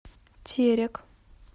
терек